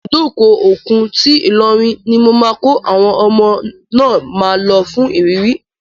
Ibùdó òkun ti Ilorin ni mo máa kọ́ àwọn ọmọ náà máa lọ fún ìrírí.